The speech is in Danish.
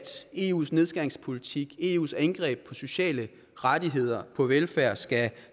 eus nedskæringspolitik eus angreb på sociale rettigheder og på velfærd skal